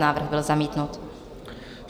Návrh byl zamítnut.